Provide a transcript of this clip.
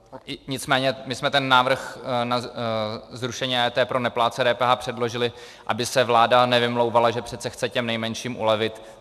Nicméně my jsme ten návrh na zrušení EET pro neplátce DPH předložili, aby se vláda nevymlouvala, že přece chce těm nejmenším ulevit.